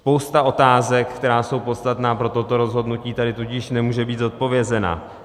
Spousta otázek, které jsou podstatné pro toto rozhodnutí, tady tudíž nemůže být zodpovězena.